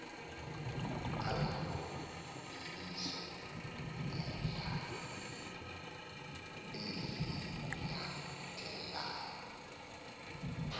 azoyikise ngendlala eziyinyathelayo